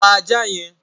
Pa ajá yẹn!